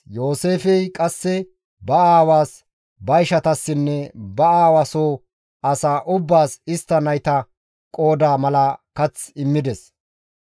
Yooseefey qasse ba aawaas, ba ishatassinne ba aawa soo asaa ubbaas istta nayta qooda mala kath immides.